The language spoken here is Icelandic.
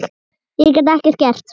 Ég gat ekkert gert.